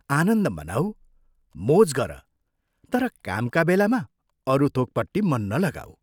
आनन्द मनाऊ, मोज गर तर कामका बेलामा अरू थोकपट्टि मन नलाऊ।